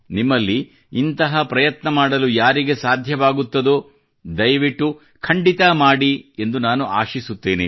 ನಿಮ್ಮಲ್ಲಿ ಇಂತಹ ಪ್ರಯತ್ನ ಮಾಡಲು ಯಾರಿಗೆ ಸಾಧ್ಯವಾಗುತ್ತದೋ ದಯವಿಟ್ಟು ಖಂಡಿತಾ ಮಾಡಿ ಎಂದು ನಾನು ಆಶಿಸುತ್ತೇನೆ